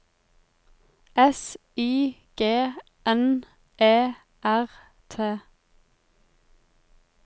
S I G N E R T